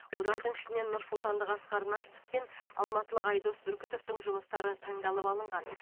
олардың ішінен нұрсұлтандық асқар нартов пен алматылық айдос бүркітовтің жұмыстары таңдалып алынған